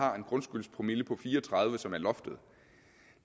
har en grundskyldspromille på fire og tredive som er loftet